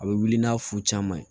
A bɛ wuli n'a fu caman ye